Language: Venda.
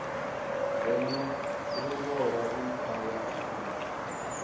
ngeno luvhola i thavha ṱhukhu